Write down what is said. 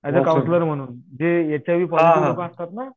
Age a counsellor म्हणून. जे H I V positive लोकं असतात ना.